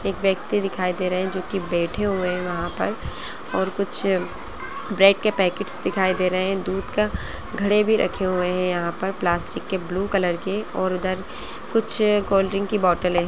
एक व्यक्ति दिखाई दे रहे है जोकि बैठे हुए है वहाँ पर और कुछ ब्रेड के पैकेट्स दिखाई दे रहे है दुध का घड़े भी रखे हुए है यहाँ पर प्लास्टिक के ब्लू कलर के और उधर कुछ कोल्ड्रिक की बॉटलें हैं।